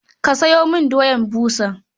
Ka sayo min doya busa.